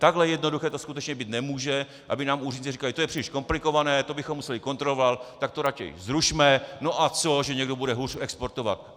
Takhle jednoduché to skutečně být nemůže, aby nám úředníci říkali: To je příliš komplikované, to bychom museli kontrolovat, tak to raději zrušme, no a co, že někdo bude hůř exportovat.